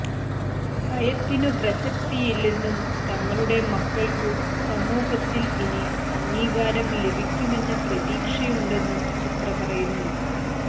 ഭയത്തിനു പ്രസക്തിയില്ലെന്നും തങ്ങളുടെ മക്കൾക്കു സമൂഹത്തിൽ ഇനി അംഗീകാരം ലഭിക്കുമെന്ന പ്രതീക്ഷയുണ്ടെന്നും ചിത്ര പറയുന്നു